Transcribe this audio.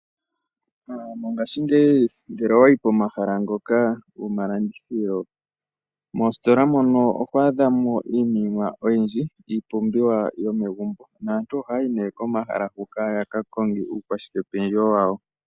Mongaashingeyi ngele owayi komahala ngoka goma landithilo, mositola mono oho adhamo iinima oyindji, iipumbiwa yomegumbo, nantu ohaya yi nee komahala hoka yaka konge uukwashikependjewo wawo.